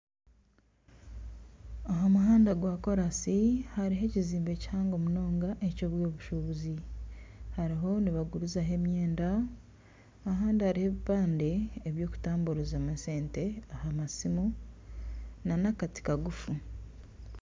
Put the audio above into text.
Aha muhanda gwa kolansi hariho ekizimbe kihango munonga ekyebyobushubuzi nibagurizaho emyenda abandi hariho ebipande ebyokutamburizamu esente aha masimu nana akati kagufu.